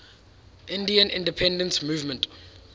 indian independence movement